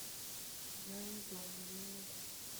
я не дома я не могу